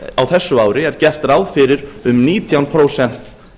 á þessu ári er gert ráð fyrir um nítján prósent